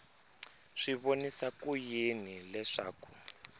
swi vonisa ku yini leswaku